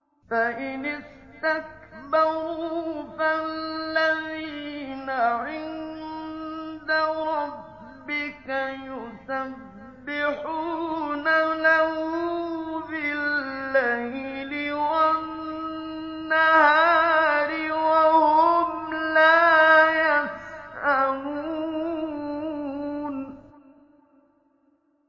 فَإِنِ اسْتَكْبَرُوا فَالَّذِينَ عِندَ رَبِّكَ يُسَبِّحُونَ لَهُ بِاللَّيْلِ وَالنَّهَارِ وَهُمْ لَا يَسْأَمُونَ ۩